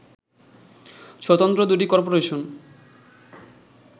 স্বতন্ত্র দু’টি করপোরেশন